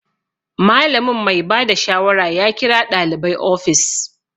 Malamin mai bada shawara ya kira ɗalibai ofis